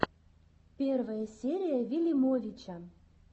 первая серия вилимовича